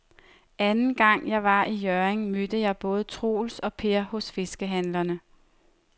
Anden gang jeg var i Hjørring, mødte jeg både Troels og Per hos fiskehandlerne.